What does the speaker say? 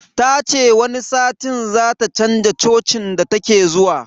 Ta ce wani satin zata chanza cocin da take zuwa.